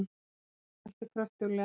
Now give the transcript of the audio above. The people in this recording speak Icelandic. Hann mótmælti kröftuglega.